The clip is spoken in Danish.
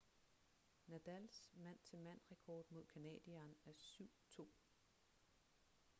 nadals mand-til-mand rekord mod canadieren er 7-2